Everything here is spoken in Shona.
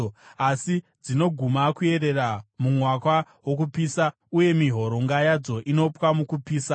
asi dzinoguma kuyerera mumwaka wokupisa, uye mihoronga yadzo inopwa mukupisa.